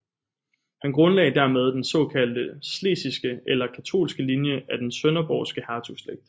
Han grundlagde dermed den såkaldte schlesiske eller katolske linje af den sønderborgske hertugslægt